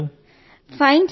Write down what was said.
ఎలా ఉన్నారు మీరు